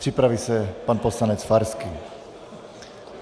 Připraví se pan poslanec Farský.